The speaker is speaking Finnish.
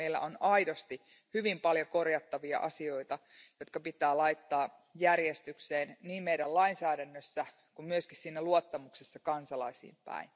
Meillä on aidosti hyvin paljon korjattavia asioita, jotka pitää laittaa järjestykseen niin meidän lainsäädännössämme kuin myös luottamuksessa kansalaisiin päin.